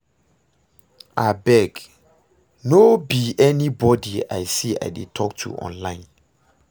Abeg, no be anybody I see I dey talk to online